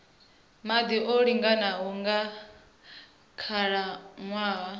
maḓi o linganaho nga khalaṅwaha